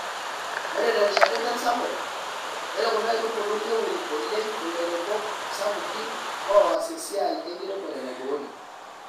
Ore tena rishata ( enchan sapuk) ore kuna aitubulu neun oleng ilairemok sapukin loas esiai enkiremorenaiboori.